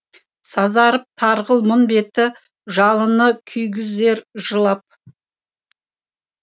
сазарып тарғыл мұң беті жалыны күйгізер жылап